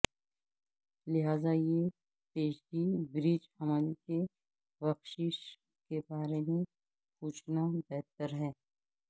لہذا یہ پیشگی برج حمل کی بخشش کے بارے میں پوچھنا بہتر ہے